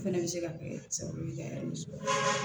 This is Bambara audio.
O fɛnɛ bɛ se ka kɛ sababu ye ka nisɔndiya